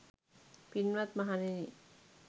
පින්වත් මහණෙනි,